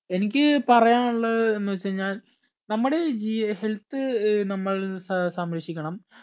എനിക്ക് പറയാന്ള്ളത് എന്നെച്ചാഴിഞ്ഞാൽ നമ്മുടെ ഈ ജി health ഏർ നമ്മൾ സ് സംരക്ഷിക്കണം